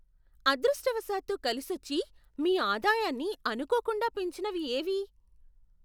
అదృష్టవశాత్తు కలిసొచ్చి మీ ఆదాయాన్ని అనుకోకుండా పెంచినవి ఏవి?